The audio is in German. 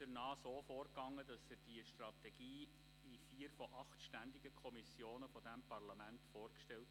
Er ging so vor, dass er die Strategie in vier von acht ständigen Kommissionen dieses Parlaments vorstellte.